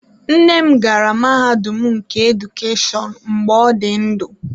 Nne m gara mahadum nke Edukeshọn mgbe ọ dị ndụ.